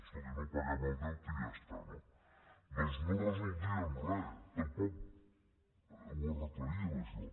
escolti no paguem el deute i ja està no doncs no resoldríem res tampoc ho arreglaríem això